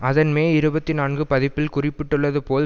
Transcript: அதன் மே இருபத்தி நான்கு பதிப்பில் குறிப்பிட்டுள்ளது போல்